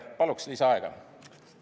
Paluksin lisaaega!